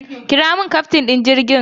Kira min kyaftin ɗin jirgin!